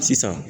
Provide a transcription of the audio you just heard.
Sisan